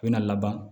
U bɛna laban